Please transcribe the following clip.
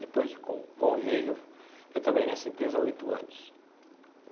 Depois, com o convívio, eu trabalhei nessa empresa oito anos.